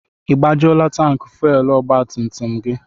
I gbajuola tanki fuwelu ọgba tum tum gị?